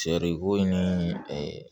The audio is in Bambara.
Cɛ de ko in ni